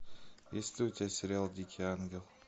есть ли у тебя сериал дикий ангел